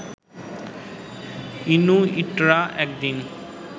ইনুইটরা একদিন